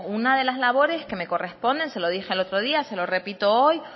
una de la labores que me corresponde se lo dije el otro día se lo repito hoy